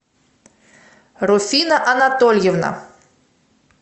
руфина анатольевна